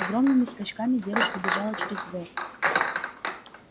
огромными скачками девушка бежала через двор